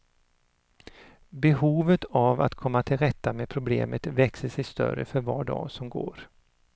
Behovet av att komma till rätta med problemet växer sig större för var dag som går.